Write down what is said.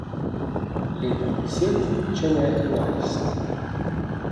Leta deset, če ne enajst.